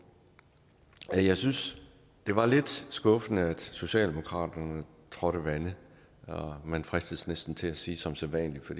jeg synes det var lidt skuffende at socialdemokraterne trådte vande man fristes næsten til at sige som sædvanlig for